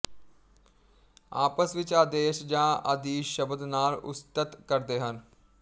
ਆਪਸ ਵਿੱਚ ਆਦੇਸ਼ ਜਾਂ ਆਦੀਸ਼ ਸ਼ਬਦ ਨਾਲ ਉਸਤਤ ਕਰਦੇ ਹਨ